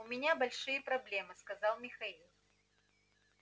у меня большие проблемы сказал михаил